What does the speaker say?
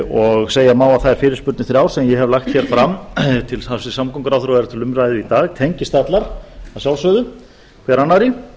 og segja má að þær fyrirspurnir þrjár sem ég hef lagt hér fram til hæstvirts samgönguráðherra og eru til umræðu í dag tengist allar að sjálfsögðu hver annarri